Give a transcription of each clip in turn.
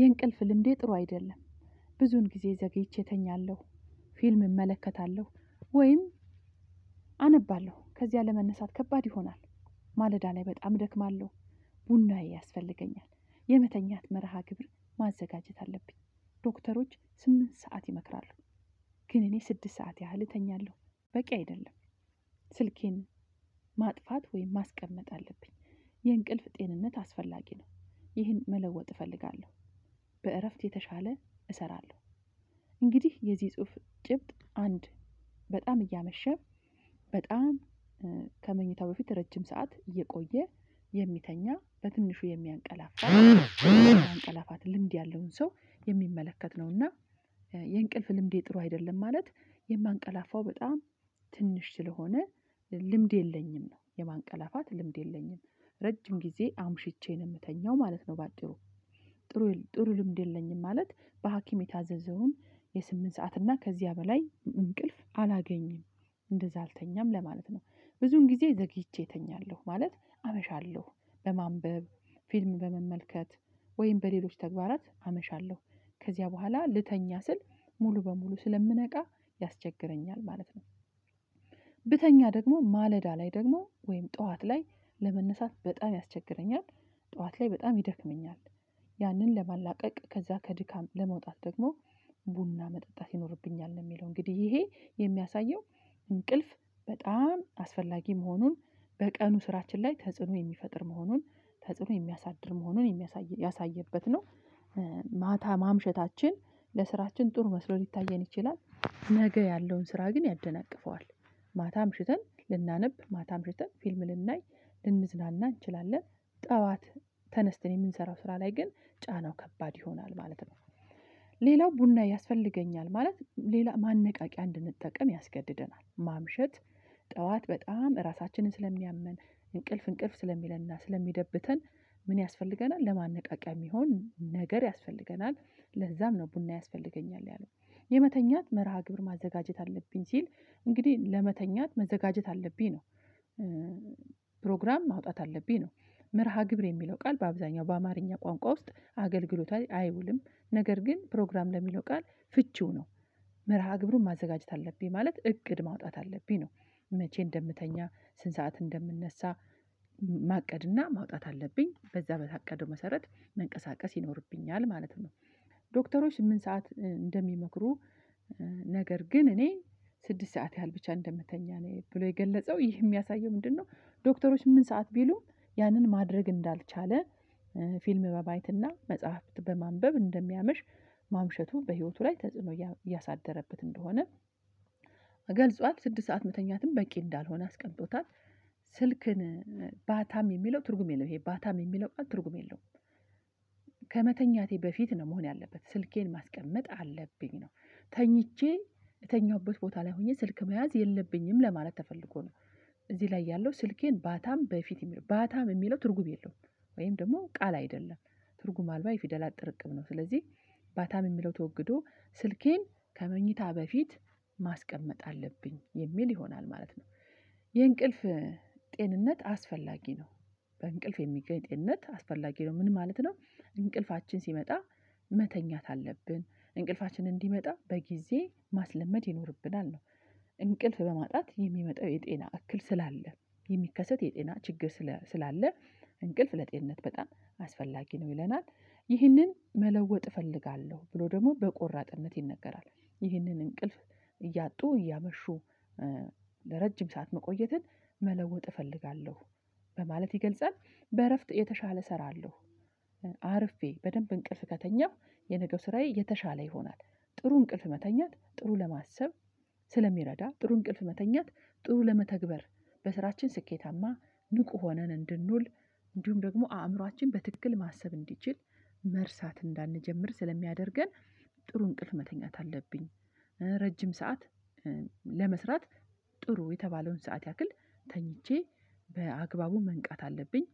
የእንቅልፍ ልምዴ ጥሩ አይደለም። ብዙዉን ጊዜ ዘግይቼ እተኛለሁ። ፊልም እመለከታለሁ ወይም አነባለሁ ከዚያ ለመነሳት ከባድ ይሆናል። ማለዳ ላይ በጣም እደክማለሁ። ቡናዬ ያስፈልገኛል የመተኛት መርሃ ግብር ማዘጋጀት አለብኝ። ዶክተሮች ስምንት ሰዓት ይመክራሉ። ግን እኔ ስድስት ሰዓት ያህል እተኛለሁ በቂ አይደለም። ስልኬን ማጥፋት ወይም ማስቀመጥ አለብኝ። የእንቅልፍ ጤንነት አስፈላጊ ነው። ይህን መለወጥ እፈልጋለሁ። በእረፍት የተሻለ እሰራለሁ። እንግዲህ የዚህ ጽሁፍ ጭብጥ አንድ በጣም እያመሸ በጣም ከመኝታው በፊት ረጅም ሰዓት እየቆየ የሚተኛ በትንሹ የሚያንቀላፋ የማንቀላፋት ልምድ ያለውን ሰው የሚመለከት ነውና። የእንቅልፍ ልምዴ ጥሩ አይደለም ማለት የማንቀላፋው በጣም ትንሽ ስለሆነ ልምድ የለኝም ነው የማንቀላፋት ልምድ የለኝም። ረጅም ጊዜ አምሽቼ ነው የምተኛው ማለት ነው። በአጭሩ ጥሩ ልምድ የለኝም። ማለት በሀኪም የታዘዘውን የስምንት ሰዓት እና ከዚያ በላይ እንቅልፍ አላገኝም። እንደዛ አልተኛም ለማለት ነው። ብዙዉን ጊዜ ዘግይቼ እተኛለሁ ማለት አመሻለሁ በማንበብ ፊልም በመመልከት ወይም በሌሎች ተግባራት አመሻለሁ። ከዚያ በኋላ ልተኛ ስል ሙሉ በሙሉ ስለምነቃ ያስቸግረኛል ማለት ነው። ብተኛ ደግሞ ማለዳ ላይ ደግሞ ወይም ጠዋት ላይ ለመነሳት በጣም ያስቸግረኛል። ጠዋት ላይ በጣም ይደክመኛል። ያንን ለማላቀቅ ከዛ ከድካም ለመውጣት ደግሞ ቡና መጠጣት ይኖርብኛል ነው የሚለው እንግዲህ ይሄ የሚያሳየው። እንቅልፍ በጣም አስፈላጊ መሆኑን በቀኑ ስራችን ላይ ተጽዕኖ የሚፈጥር መሆኑን ተጽዕኖ የሚያሳድር መሆኑን የሚያሳይ ያሳየበት ነው። ማታ ማምሸታችን ለስራችን ጥሩ መስሎ ሊታየን ይችላል ነገ ያለውን ስራ ግን ያደናቅፈዋል። ማታ አምሽተን ልናነብ ማታ አምሽተን ፊልም ልናይ ልንዝናና እንችላለን። ጠዋት ተነስተን የምንሰራው ስራ ላይ ግን ጫናው ከባድ ይሆናል ማለት ነው። ሌላው ቡና ያስፈልገኛል ማለት ሌላ ማነቃቂያ እንድንጠቀም ያስገድደናል ማምሸት ጠዋት በጣም እራሳችንን ስለሚያመን እንቅልፍ እንቅልፍ ስለሚለንና ስለሚደብተን ምን ያስፈልገናል ለማነቃቂያ የሚሆን ነገር ያስፈልገናል? ለዛም ነው ቡና ያስፈልገኛል ያለው የመተኛት መርሃ ግብር ማዘጋጀት አለብኝ ሲል እንግዲህ ለመተኛት መዘጋጀት አለብኝ ነው። ፕሮግራም ማውጣት አለብኝ ነው። መርሃ ግብር የሚለው ቃል በአብዛኛው በአማርኛ ቋንቋ ውስጥ አገልግሎት ላይጨአይውልም ነገር ግን ፕሮግራም ለሚለው ቃል ፍቺው ነው። መርሃ ግብሩን ማዘጋጀት አለብኝ ማለት እቅድ ማውጣት አለብኝ ነው። መቼ እንደምተኛ ስንት ሰዓት እንደምነሳ ማቀድና ማውጣት አለብኝ በዛ በታቀደው መሰረት መንቀሳቀስ ይኖርብኛል ማለት ነው። ዶክተሮች ስምንት ሰዓት እንደሚመክሩ ነገር ግን እኔ ስድስት ሰዓት ያህል ብቻ እንደምተኛ ነው ብሎ የገለጸው ይህ የሚያሳየው ምንድነው? ዶክተሮች ምን ሰዓት ቢሉም ያንን ማድረግ እንዳልቻለ ፊልም በማየትና መጽሐፍት በማንበብ እንደሚያመሽ ማምሸቱ በህይወቱ ላይ ተጽዕኖ እያሳደረበት እንደሆነ ገልጿል ስድስት ሰዓት መተኛትም በቂ እንዳልሆነ አስቀምጦታል። ስልክን ባታም የሚለው ትርጉም የለውም ይሄ ባታም የሚለው ቃል ትርጉም የለውም። ከመተኛቴ በፊት ነው መሆን ያለበት ስልኬን ማስቀመጥ አለብኝ ነው። ተኝቼ እተኛሁበት ቦታ ላይ ሆኜ ስልክ መያዝ የለብኝም ለማለት ተፈልጎ ነው። እዚህ ላይ ያለው ስልኬን ባታም በፊት የሚለው ባታም የሚለው ትርጉም የለውም። ወይም ደግሞ ቃል አይደለም። ትርጉም አልባ የፊደላት ጥርቅም ነው ስለዚህ ባታም የሚለው ተወግዶ ስልኬን ከመኝታ በፊት ማስቀመጥ አለብኝ የሚል ይሆናል ማለት ነው። የእንቅልፍ ጤንነት አስፈላጊ ነው። በእንቅልፍ የሚገኝ ጤንነት አስፈላጊ ነው ምን ማለት ነው? እንቅልፋችን ሲመጣ መተኛት አለብን እንቅልፋችን እንዲመጣ በጊዜ ማስለመድ ይኖርብናል ነው። እንቅልፍ በማጣት የሚመጣው የጤና እክል ስላለ የሚከሰት የጤና ችግር ስላለ እንቅልፍ ለጤንነት በጣም አስፈላጊ ነው ይለናል። ይህንን መለወጥ እፈልጋለሁ ብሎ ደግሞ በቆራጥነት ይነገራል። ይህንን እንቅልፍ እያጡ እያመሹ ለረጅም ሰዓት መቆየትን መለወጥ እፈልጋለሁ። በማለት ይገልጻል። በእረፍት የተሻለ እሰራለሁ። አርፌ በደንብ እንቅልፍ ከተኛሁ የነገው ስራዬ የተሻለ ይሆናል። ጥሩ እንቅልፍ መተኛት ጥሩ ለማሰብ ስለሚረዳ ጥሩ እንቅልፍ መተኛት ጥሩ ለመተግበር በስራችን ስኬታማ ንቁ ሆነን እንድንውል እንዲሁም ደግሞ አእምሮአችን በትክክል ማሰብ እንዲችል መርሳት እንዳንጀምር ስለሚያደርገን። ጥሩ እንቅልፍ መተኛት አለብኝ። ረጅም ሰዓት ለመስራት ጥሩ የተባለውን ሰዓት ያክል ተኝቼ በአግባቡ መንቃት አለብኝ።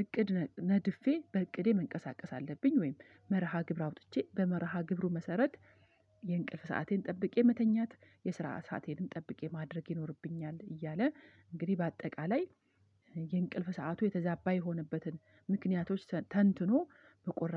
እቅድ ነድፌ በእቅዴ መንቀሳቀስ አለብኝ ወይም መርሃ ግብር አውጥቼ በመርሃ ግብሩ መሰረት የእንቅልፍ ሰአቴን ጠብቄ መተኛት የስራ ሰአቴንም ጠብቄ ማድረግ ይኖርብኛል እያለ። እንግዲህ በአጠቃላይ የእንቅልፍ ሰዓቱ የተዛባ የሆነበትን ምክንያቶች ተንትኖ በቆራጥ